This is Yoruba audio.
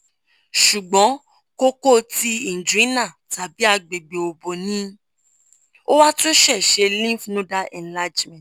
ṣùgbọ́n kókó ti inguinal tàbí agbègbè òbò ni ó wá tún ṣẹ̀ẹ̀ ṣe lymph nodal enlargement